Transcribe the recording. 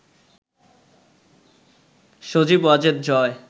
সজীব Wazed জয়